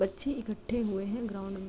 बच्चे इकटठे हुए हैं ग्राउन्ड में --